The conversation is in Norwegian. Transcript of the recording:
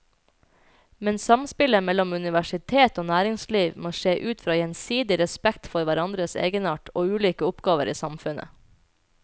Men samspillet mellom universitet og næringsliv må skje ut fra gjensidig respekt for hverandres egenart og ulike oppgaver i samfunnet.